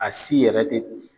A si yɛrɛ te